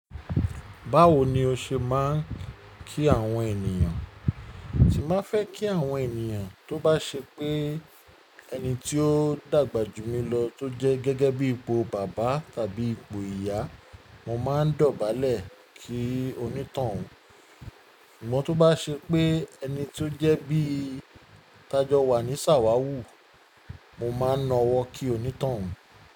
Báwo ni o ṣe máa ń kí àwọn ènìyàn? Tí mo fẹ́ kí àwọn ènìyàn, tó bá ṣe pé ẹni tí ó dàgbà jù mí lọ tó jẹ́ gẹ́gẹ́ bí ipò bàbá tàbí ipò ìyá, mo máa ń dọ̀bálẹ̀ kí onítànun. Ṣùgbọ́n tó bá ṣe pé ẹni tí ó jẹ́ bí i tajọ wa ní sàwàwù, mo máa na ọwọ́ kí onítàwun.